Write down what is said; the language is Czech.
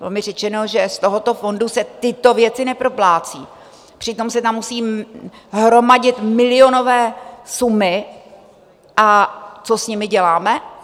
Bylo mi řečeno, že z tohoto fondu se tyto věci neproplácejí, přitom se tam musí hromadit milionové sumy, a co s nimi děláme?